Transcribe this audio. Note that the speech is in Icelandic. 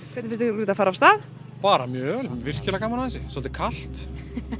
ykkur þetta fara af stað bara mjög vel virkilega gaman að þessu svolítið kalt